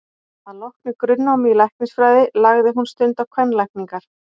Að loknu grunnnámi í læknisfræði lagði hún stund á kvenlækningar.